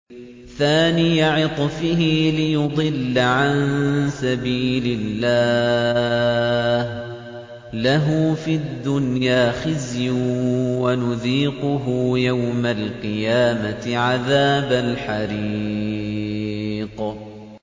ثَانِيَ عِطْفِهِ لِيُضِلَّ عَن سَبِيلِ اللَّهِ ۖ لَهُ فِي الدُّنْيَا خِزْيٌ ۖ وَنُذِيقُهُ يَوْمَ الْقِيَامَةِ عَذَابَ الْحَرِيقِ